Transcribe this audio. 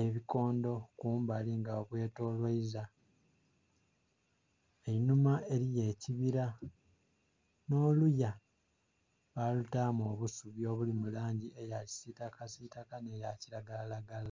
ebikondho kumbali nga babwetoloiza, einhuma eliyo ekibila nh'oluya balutaamu obusubi obuli mu langi eya kisitakasitaka nhe ya kilagalalagala.